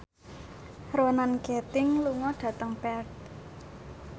Ronan Keating lunga dhateng Perth